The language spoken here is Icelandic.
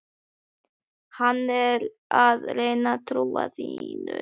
Hann er að reyna trú þína.